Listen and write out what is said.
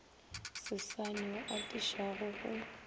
sesane wo o atišago go